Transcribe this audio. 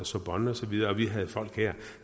sorbonne og så videre og vi havde folk her